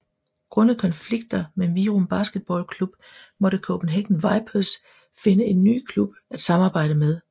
Grundet konflikter med Virum Basketballklub måtte Copenhagen Vipers finde en ny klub at samarbejde med